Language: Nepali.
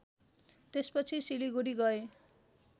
त्यसपछि सिलिगुढी गए